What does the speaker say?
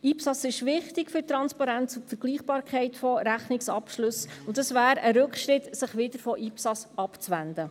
IPSAS ist wichtig für die Transparenz und Vergleichbarkeit von Rechnungsabschlüssen, und es wäre ein Rückschritt, sich wieder von IPSAS abzuwenden.